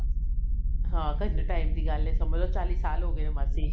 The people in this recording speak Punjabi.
ਹਾਂ ਕਿੰਨੇ time ਦੀ ਗੱਲ ਹੈ ਸਮ੍ਝ੍ਲੋ ਚਾਲੀ ਸਾਲ ਹੋਗੇ ਆ ਮਾਸੀ